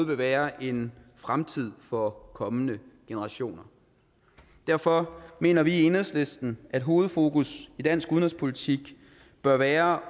vil være en fremtid for kommende generationer derfor mener vi i enhedslisten at hovedfokus i dansk udenrigspolitik bør være